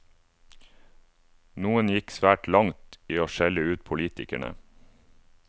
Noen gikk svært langt i å skjelle ut politikerne.